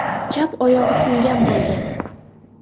Chap oyog‘i singan bo‘lgan.